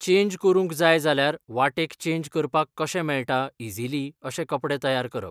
Change करूंक जाय जाल्यार वाटेक चेन्ज करपाक कशें मेळटा इजिली अशे कपडे तयार करप.